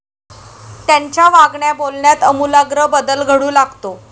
त्यांच्या वागण्याबोलण्यात आमूलाग्र बदल घडू लागतो.